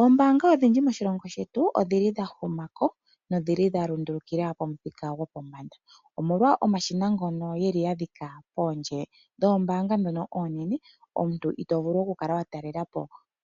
oombaanga odhindji moshilongo shetu odha huma ko nodha lundulukila pomuthika gopombanda, omolwa omashina ngoka ya dhika poondje dhoombaanga ndhoka oonene. Omuntu to vulu okukala wa talela po